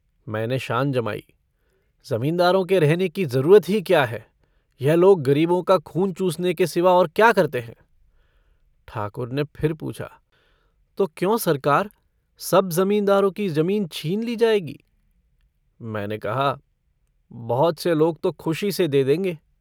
मैंने शान जमाई - ज़मींदारों के रहने की ज़रूरत ही क्या है? यह लोग गरीबों का खून चूसने के सिवा और क्या करते हैं? ठाकुर ने फिर पूछा - तो क्यों सरकार सब ज़मींदारों की जमीन छीन ली जाएगी। मैंने कहा - बहुत से लोग तो खुशी से दे देंगे।